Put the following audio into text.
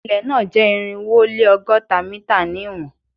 Ilẹ na jẹ irinwo o le ọgọta mita ni iwọn